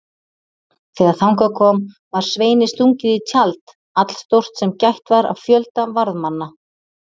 Þegar þangað kom var Sveini stungið í tjald allstórt sem gætt var af fjölda varðmanna.